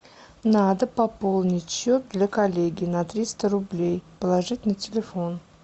надо пополнить счет для коллеги на триста рублей положить на телефон